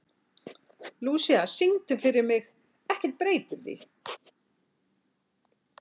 Lúísa, syngdu fyrir mig „Ekkert breytir því“.